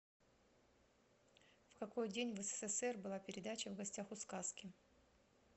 в какой день в ссср была передача в гостях у сказки